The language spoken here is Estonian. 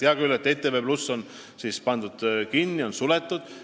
Hea küll, ETV+ on kinni pandud, suletud.